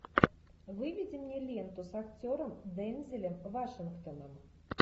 выведи мне ленту с актером дензелом вашингтоном